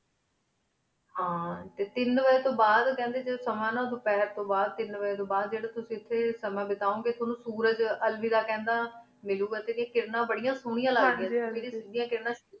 ਹਨ ਤੀਨ ਵਜੀ ਤੂੰ ਬਾਦ ਕਹਨ ਡੀ ਜਾਦੁਨ ਧੁਪਾਹੇਰ ਤੂੰ ਬਾਦ ਜੇਰੀ ਤੁਸੀਂ ਏਥੀ ਸਮਾਂ ਬਤਾਉਣ ਗੀ ਤੁਵਾਨੂੰ ਸੂਰਜ ਅਲ੍ਵੇਦਾ ਖੰਡਾ ਮਿਲੁ ਗਾ ਏਦੇਯਾਂ ਕਿਰਨਾ ਬਰੇਯਾਂ ਸੋਨਿਯਾ ਲਗ੍ਦੇਯਾਂ ਹਨ ਜੀ ਹਨ ਜੀ